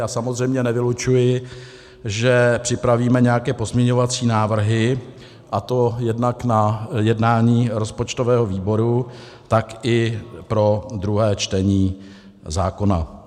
Já samozřejmě nevylučuji, že připravíme nějaké pozměňovací návrhy, a to jednak na jednání rozpočtového výboru, tak i pro druhé čtení zákona.